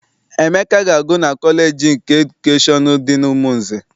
Emeka na-agụ na kọleji nke edukeshọn dị n'Umunze.